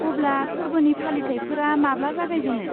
अब्ला फोर्बोनि फालिथाइफोरा माब्ला जागायजेनो?